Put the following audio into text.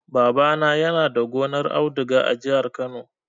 Babana yana da gonar auduga a jihar Kano.